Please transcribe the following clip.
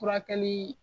Furakɛli